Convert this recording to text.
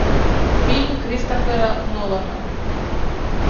фильм кристофера нолана